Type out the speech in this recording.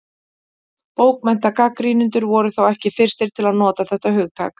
Bókmenntagagnrýnendur voru þó ekki fyrstir til að nota þetta hugtak.